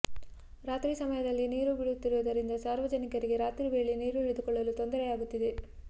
ರಾತ್ರಿ ಸಮಯದಲ್ಲಿ ನೀರು ಬಿಡುತ್ತಿರುವುದರಿಂದ ಸಾರ್ವಜನಿಕರು ರಾತ್ರಿ ವೇಳೆ ನೀರು ಹಿಡಿದುಕೊಳ್ಳಲು ತೊಂದರೆಯಾಗುತ್ತಿದೆ